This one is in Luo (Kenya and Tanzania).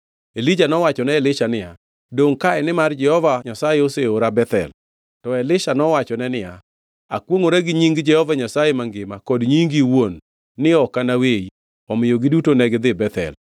Elija nowachone Elisha niya, dongʼ kae; nimar Jehova Nyasaye oseora Bethel. To Elisha nowachone niya, “Akwongʼora gi nying Jehova Nyasaye mangima kod nyingi iwuon, ni ok anaweyi.” Omiyo giduto negidhi Bethel.